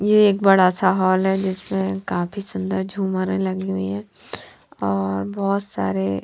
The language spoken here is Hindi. ये एक बड़ा सा हॉल है जिसमे काफी सुन्दर झूमर लगी हुई है और बहोत सारे--